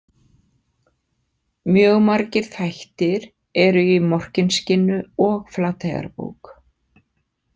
Mjög margir þættir eru í Morkinskinnu og Flateyjarbók .